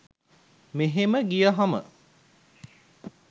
මෙහෙම ගියහම